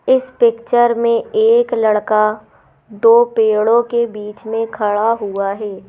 इस पिक्चर में एक लड़का दो पेड़ों के बीच में खड़ा हुआ है।